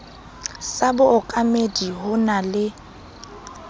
sa bookamedi ho na le